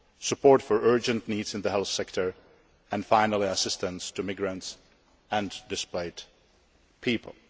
support for urgent needs in the health sector, and finally assistance to migrants and displaced people.